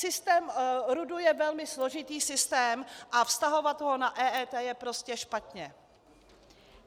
Systém RUD je velmi složitý systém a vztahovat ho na EET je prostě špatně.